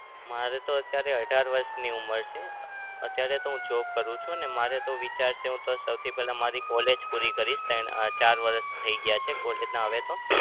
મારે તો અત્યારે અઢાર વરસની ઉંમર છે. અત્યારે તો હું job કરું છું અને મારે તો વિચાર છે સૌથી પેલા મારી college પૂરી કરીશ. ત્રણ અમ ચાર વરસ થઇ ગયા છે college ના હવે તો